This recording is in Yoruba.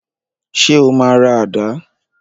Ṣé o máa ra àdá?